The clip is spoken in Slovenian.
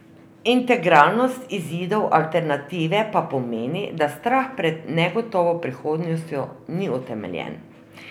Integralnost izidov alternative pa pomeni, da strah pred negotovo prihodnostjo ni utemeljen.